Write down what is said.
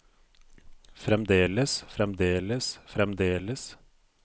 fremdeles fremdeles fremdeles